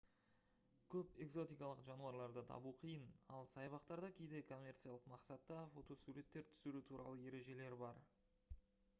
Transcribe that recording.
көп экзотикалық жануарларды табу қиын ал саябақтарда кейде коммерциялық мақсатта фотосуреттер түсіру туралы ережелер бар